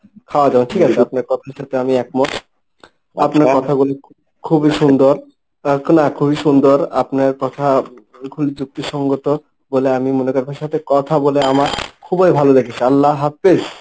খওয়া যাবে না ঠিক আছে। আপনার কথার সাথে আমি একমত আপনার কথাগুলি খুবই সুন্দর না খুবই সুন্দর আপনার কথা খুবই যুক্তি সঙ্গত বলে আমি মনে করবার সাথে কথা বলে আমার খুবই ভালো লেগেছে। আল্লাহ হাফিজ।